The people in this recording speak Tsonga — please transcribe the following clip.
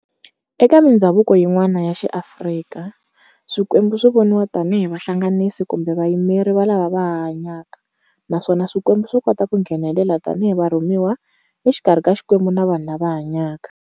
Eka mindzhavuko yin'wana ya xi Afrika, swikwembu swi voniwa tani hi vahlanganisi kumbe vayimeri va lava vahanyaka, naswona swikwembu swikota ku ngenelela tani hi varhumiwa exikarhi ka xikwembu na vanhu lava hanyaka.